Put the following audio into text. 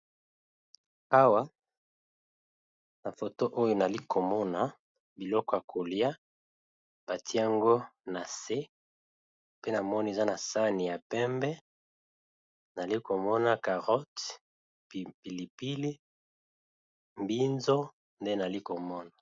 Awa na foto oyo nayali komona biloko ya kolia batie yango na se pe namoni eza na sani ya pembe nayali komona carote, pilipili, mbinzo nde nayali komona.